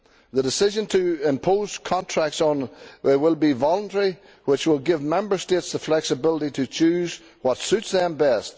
The decision to impose contracts will be voluntary, which will give Member States the flexibility to choose what suits them best.